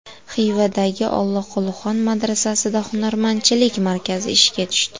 Xivadagi Olloqulixon madrasasida hunarmandchilik markazi ishga tushdi.